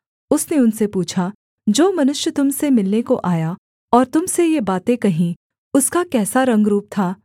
उसने उनसे पूछा जो मनुष्य तुम से मिलने को आया और तुम से ये बातें कहीं उसका कैसा रंगरूप था